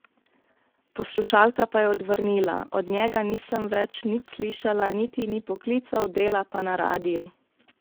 Poslušalka pa je odvrnila: 'Od njega nisem več nič slišala, niti ni poklical, dela pa na radiu.